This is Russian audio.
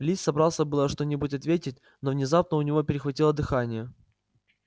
ли собрался было что-нибудь ответить но внезапно у него перехватило дыхание